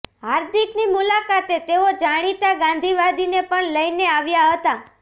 હાર્દિકની મુલાકાતે તેઓ જાણીતા ગાંધીવાદીને પણ લઈને આવ્યાં હતાં